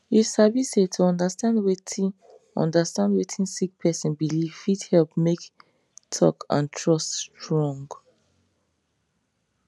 you sabi say to understand wetin understand wetin sick person believe fit help make talk and trust strong